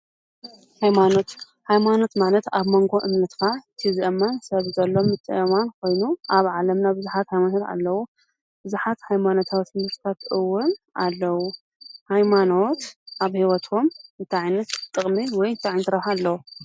ሃይማኖት ሃይማኖት ማለት ኣብ መንጎ እምነትካ እቲ ዝእመን ሰብ ዘሎ ምትእምማን ኮይኑ ኣብ ዓለምና ብዙሓት ሃይማኖታት ኣለው፡፡ ብዙሓት ሃይማኖታዊ ትምህርትታት እውን ኣለው፡፡ ሃይማኖት ኣብ ሂወትኩም እንታይ ዓይነት ጥቕሚ ወይ እንታይ ዓይነት ረብሓ ኣለዎ?